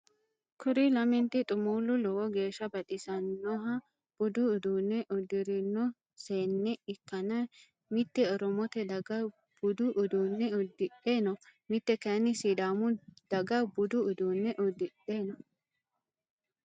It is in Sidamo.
Kuri lament xumuullu lowo geeshsa baxissannoha budu uduunne udirinno seenne ikkanna mitte oromote daga budu uduunne udidhe no. mitte kayin sidaamu daga budu uduunne udidhe no.